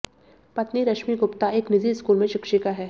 पत्नी रश्मि गुप्ता एक निजी स्कूल में शिक्षिका हैं